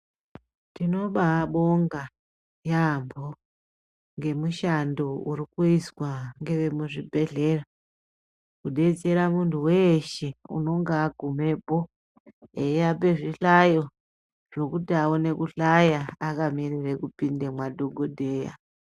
Tinobabonga yaambo ngemushando uri kuizwa ngezvemuzvibhedhlera, kudetsera muntu weshe unenge agumepo, eyiape zvihlayo zvokuti aone kuhlaya, akamirire kupinde mwadhokodheya.